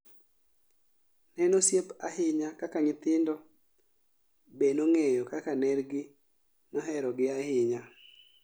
Ne en osiep ahinya ka nyithindo be nong'eyo kaka ner gi mohero gi ahinya